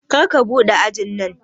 Karka buɗe ajin nan